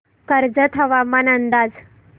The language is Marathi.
कर्जत हवामान अंदाज